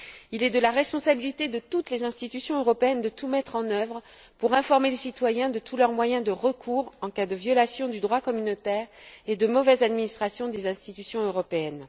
Il est de la responsabilité de toutes les institutions européennes de tout mettre en œuvre pour informer les citoyens de tous leurs moyens de recours en cas de violation du droit communautaire et de mauvaise administration des institutions européennes.